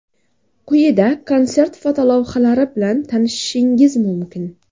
Quyida konsert fotolavhalari bilan tanishishingiz mumkin.